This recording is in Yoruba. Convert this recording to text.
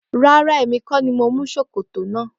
Rárá èmi kó ni mo mú ṣòkòtò náà.